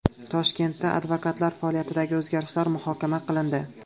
Toshkentda advokatlar faoliyatidagi o‘zgarishlar muhokama qilindi.